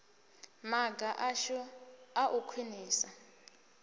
maga ashu a u khwinisa